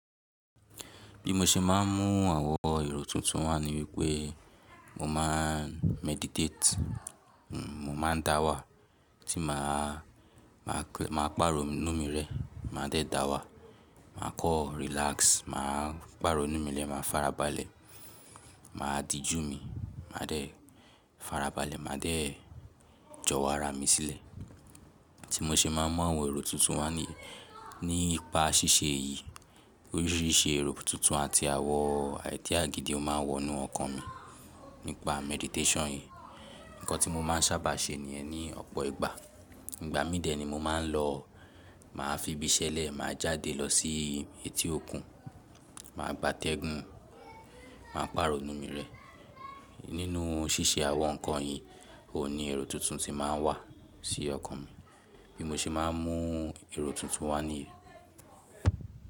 Bí mo ṣe máà ń mú àwọn èrò tuntun wà ní wípé mo máa meditate, mo máa dáwà tí màá pàrọ̀nú mi rẹ́, màá dẹ dàwà, màá kan relax, màá pàrọ̀nú mi rẹ́, màá farabalẹ̀, màá dìjú mi, màá dẹ farabalẹ̀, màá dẹ jọwo ara mi sílẹ̀. Tí mo ṣe máa ń mú àwọn èrò tuntun wà niyii nípa ṣíṣe èyí. Oríṣìíríṣìí èrò tuntun àti àwọn idea gídì o máa ń wọ inú ọkàn mi nípa meditation yìí. Ǹnkan tí mo máa ń sábà ṣe níyẹ̀n ní ọ̀pọ̀ ìgbà, ìgbà mí dẹ̀ ni mo máa ń lọ màá fi ibi ṣẹ́lẹ̀, màá jáde lọ sí etí òkun, màá gbátẹ́gùn, màá pàrọ̀nú mi rẹ́. Nínú ṣíṣe àwọn ǹnkan yìí, òun ní èrò tuntun tí màá wà sí ọkàn mi. Bí mo ṣe máa ń mú èrò tuntun wà níyen.